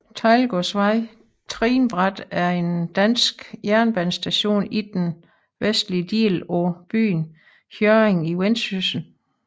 Teglgårdsvej Trinbræt er en dansk jernbanestation i den vestlige del af byen Hjørring i Vendsyssel